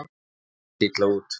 Þetta leit illa út.